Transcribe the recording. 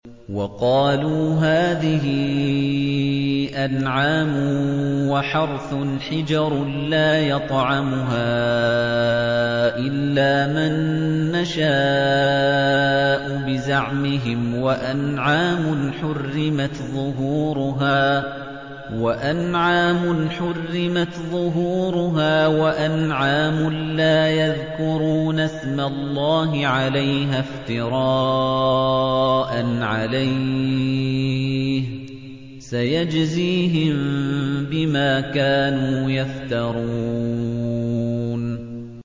وَقَالُوا هَٰذِهِ أَنْعَامٌ وَحَرْثٌ حِجْرٌ لَّا يَطْعَمُهَا إِلَّا مَن نَّشَاءُ بِزَعْمِهِمْ وَأَنْعَامٌ حُرِّمَتْ ظُهُورُهَا وَأَنْعَامٌ لَّا يَذْكُرُونَ اسْمَ اللَّهِ عَلَيْهَا افْتِرَاءً عَلَيْهِ ۚ سَيَجْزِيهِم بِمَا كَانُوا يَفْتَرُونَ